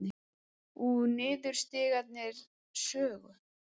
Úr Niðurstigningar sögu